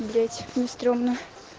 блять мне стремно